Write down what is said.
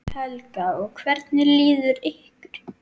Helga: Og hvernig líður ykkur?